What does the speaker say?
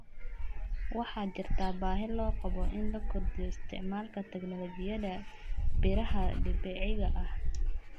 Waxaa jirta baahi loo qabo in la kordhiyo isticmaalka tignoolajiyada beeraha dabiiciga ah.